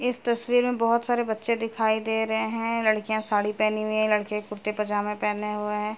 इस तस्वीर में बहुत सारे बच्चे दिखाई दे रहे हैं। लड़कियाँ साड़ी पहनी हुई है लड़के कुर्ते पैजामा पहने हुए हैं।